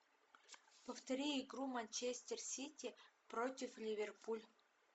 повтори игру манчестер сити против ливерпуль